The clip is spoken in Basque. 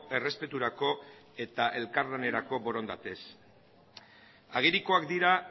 errespeturako eta elkarlanerako borondatez agerikoak dira